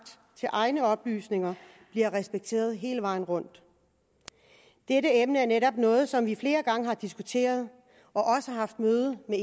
til egne oplysninger bliver respekteret hele vejen rundt dette emne er netop noget som vi flere gange har diskuteret og har haft møder med